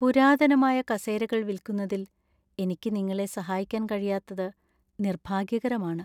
പുരാതനമായ കസേരകൾ വിൽക്കുന്നതിൽ എനിക്ക് നിങ്ങളെ സഹായിക്കാൻ കഴിയാത്തത് നിർഭാഗ്യകരമാണ്.